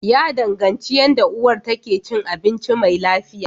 Ya danganci yanda uwar ta ke cin abinci mai lafiya.